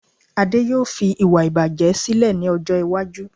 Ade yóò fi iwa ibaje sílè ní ọjọ́ iwájú